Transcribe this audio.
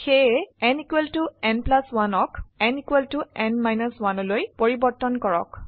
সেয়ে n n 1 অক n n 1লৈ পৰিবৰ্তন কৰক